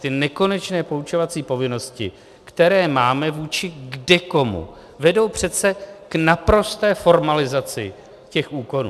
Ty nekonečné poučovací povinnosti, které máme vůči kdekomu, vedou přece k naprosté formalizaci těch úkonů.